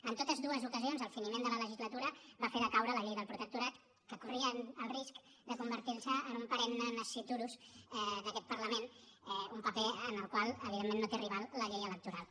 en totes dues ocasions el finiment de la legislatura va fer decaure la llei del protectorat que corria el risc de convertir se en un perenne nasciturus d’aquest parlament un paper en el qual evidentment no té rival la llei electoral